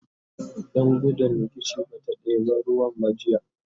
Dan gudun rikici bata ɗeba ruwan ba jiya